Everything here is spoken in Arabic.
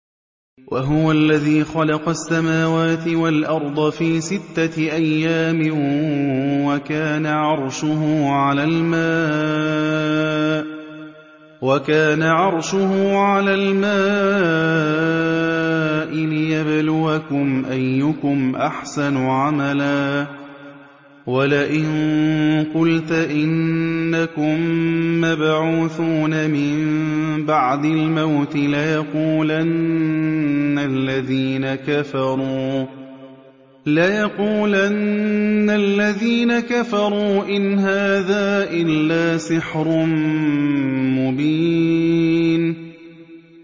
وَهُوَ الَّذِي خَلَقَ السَّمَاوَاتِ وَالْأَرْضَ فِي سِتَّةِ أَيَّامٍ وَكَانَ عَرْشُهُ عَلَى الْمَاءِ لِيَبْلُوَكُمْ أَيُّكُمْ أَحْسَنُ عَمَلًا ۗ وَلَئِن قُلْتَ إِنَّكُم مَّبْعُوثُونَ مِن بَعْدِ الْمَوْتِ لَيَقُولَنَّ الَّذِينَ كَفَرُوا إِنْ هَٰذَا إِلَّا سِحْرٌ مُّبِينٌ